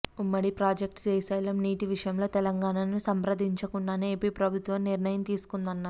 ఉమ్మడి ప్రాజెక్టు శ్రీశైలం నీటి విషయంలో తెలంగాణను సంప్రదించకుండానే ఏపీ ప్రభుత్వం నిర్ణయం తీసుకుందన్నారు